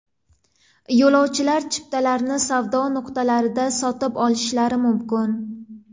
Yo‘lovchilar chiptalarni savdo nuqtalarida sotib olishlari mumkin.